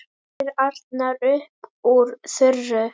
spyr Arnar upp úr þurru.